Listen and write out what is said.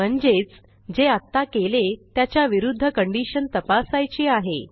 म्हणजेच जे आत्ता केले त्याच्या विरूध्द कंडिशन तपासायची आहे